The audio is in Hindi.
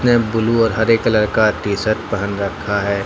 यह ब्लू और हरे कलर का टीशर्ट पहन रखा है।